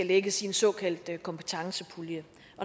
lægges i en såkaldt kompetencepulje